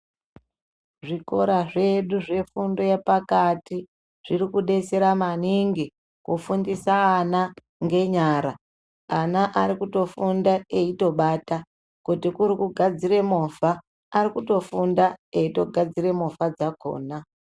Zvikora zvedu zvefundo yepakati zviri kudetsera maningi kufundisa ana ngenyara ana arikutofunda eitobata kuti kuri kugadzira movha arikufunda eitogadzira movha dzakona.